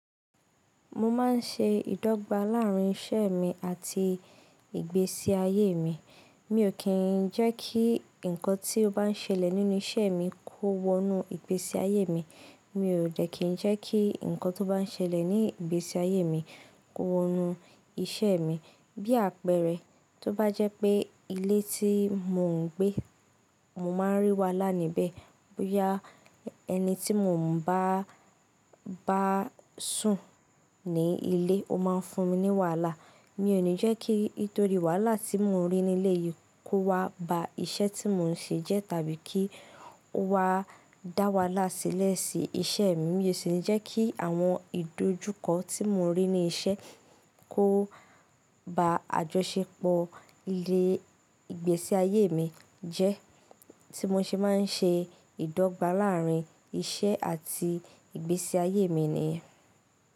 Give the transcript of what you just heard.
Mo máa ń ṣe ìdọ́gba láàárín iṣẹ́ mi àti ìgbésí ayé mi. Mi ò kí ń jẹ́ kí ǹkan tí ó bá ń ṣẹlẹ̀ nínú iṣẹ́ mi kó wọnú ìgbésí ayé mi. Mi ò dẹ̀ kí ń jẹ́ kí ǹkan tó bá ń ṣẹlẹ̀ ní ìgbésí ayé mi kó wọnú iṣẹ́ mi. Bí àpẹẹrẹ, tó bá jẹ́ pé ilé tí mò ń gbé, mo máa ń rí wàhálà níbẹ̀. Boya ẹni tí mò ń bá sùn ní ilé, ó máa ń fún mi ní wàhálà. Mi ò ní jẹ́ kí nítorí wàhálà tí mò ń rí ní ilé yìí kó wá ba iṣẹ́ tí mò ń ṣe jẹ́ tàbí kí ó wá dá wàhálà sílẹ̀ sí iṣẹ́ mi. Mi ò sì ní jẹ́ kí àwọn ìdojúkọ tí mò ń rí ní iṣẹ́ kó ba àjọṣepọ̀ ilé, ìgbésí ayé mi jẹ́. Tí mo ṣe máa ń ṣe ìdọ́gba láàárín iṣẹ́ àti ìgbésí ayé mi nìyẹn.